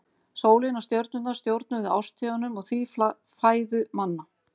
Sólin og stjörnurnar stjórnuðu árstíðunum og því fæðu manna.